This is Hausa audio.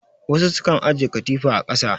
Wassu sukan ajiye katifa a ƙasa